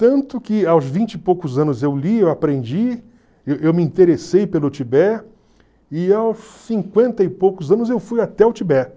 Tanto que aos vinte e poucos anos eu li, eu aprendi, eu eu me interessei pelo Tibete, e aos cinquenta e poucos anos eu fui até o Tibete.